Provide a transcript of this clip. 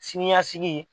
Sini ɲɛsigi